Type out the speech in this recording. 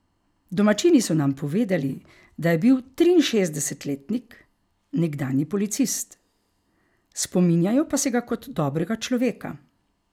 Domačini so nam povedali, da je bil triinšestdesetletnik nekdanji policist, spominjajo pa se ga kot dobrega človeka.